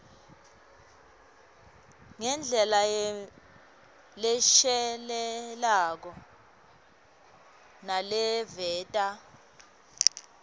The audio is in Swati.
ngendlela leshelelako naleveta